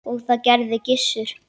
Og það gerði Gissur.